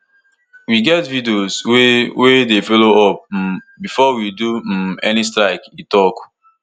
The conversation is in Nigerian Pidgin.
we get videos wey wey dey follow up um before we do um any strike e tok